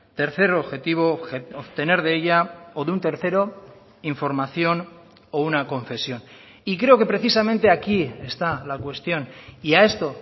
tercer objetivo obtener de ella o de un tercero información o una confesión y creo que precisamente aquí está la cuestión y a esto